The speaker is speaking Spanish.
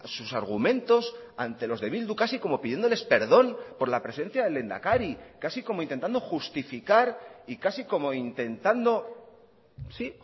sus argumentos ante los de bildu casi como pidiéndoles perdón por la presencia del lehendakari casi como intentando justificar y casi como intentando sí